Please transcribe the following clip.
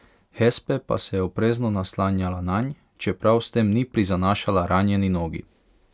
Hespe pa se je oprezno naslanjala nanj, čeprav s tem ni prizanašala ranjeni nogi.